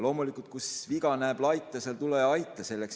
Loomulikult, kus viga näed laita, seal tule ja aita.